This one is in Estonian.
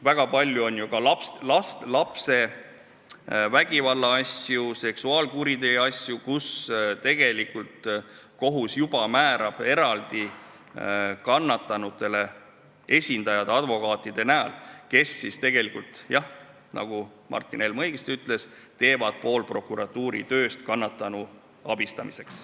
Väga palju on ju ka lastevastase vägivalla asju, seksuaalkuriteo asju, kus tegelikult kohus juba määrab kannatanutele eraldi esindajad advokaatide näol, kes jah, nagu Martin Helme õigesti ütles, teevad ära pool prokuratuuri tööst kannatanu abistamisel.